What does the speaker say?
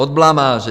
Od blamáže.